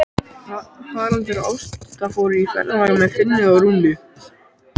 Haraldur og Ásta fóru í ferðalag með Finni og Rúnu.